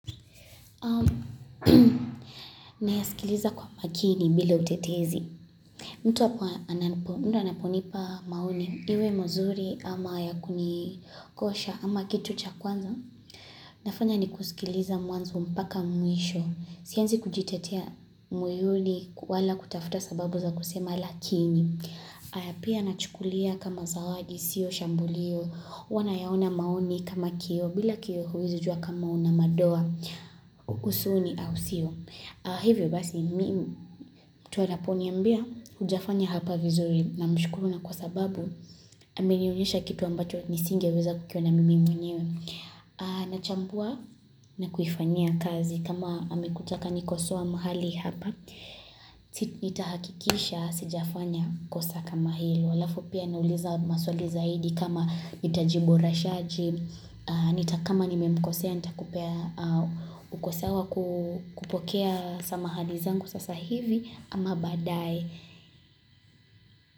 Na ya sikiliza kwa makini bila utetezi mtu wapu ananponipa maoni Iwe mzuri ama ya kunikosha ama kitu cha kwanza Nafanya ni kusikiliza mwanzo mpaka mwisho Sianzi kujitetea moyoni wala kutafuta sababu za kusema lakini Aya pia na chukulia kama zawadi sio shambulio huwanayaona maoni kama kio bila kio huwezijua kama una madoa usoni au sio hivyo basi mtu anaponiambia hujafanya hapa vizuri na mshukuru na kwa sababu amenionyesha kitu ambacho nisinge weza kukiona mimi mwenyewe na chambua na kuifanyia kazi kama amekuja akanikosoa mahali hapa siti nitahakikisha sijafanya kosa kama hilo halafu pia nauliza maswali zaidi kama nitaji boresha je nitakama nimemkosea nita kupea uko sawa kupokea samahani zangu sasa hivi ama badae.